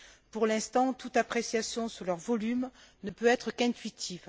Pour l'instant, toute appréciation sur leur volume ne peut être qu'intuitive.